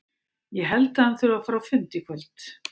Ég held að hann þurfi að fara á fund í kvöld.